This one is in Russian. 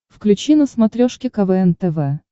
включи на смотрешке квн тв